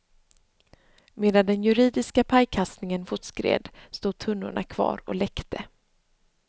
Medan den juridiska pajkastningen fortskred stod tunnorna kvar och läckte.